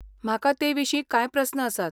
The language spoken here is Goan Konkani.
म्हाका तेविशीं कांय प्रस्न आसात.